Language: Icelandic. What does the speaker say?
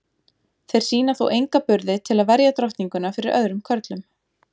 Þeir sýna þó enga burði til að verja drottninguna fyrir öðrum körlum.